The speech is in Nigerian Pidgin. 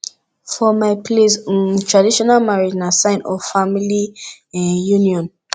for my place um traditional marriage na sign of family um union